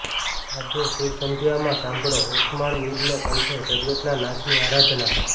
આજે સુરસંધ્યામાં સાંભળો ઓસમાણ મીરના કંઠે જગતના નાથની આરાધના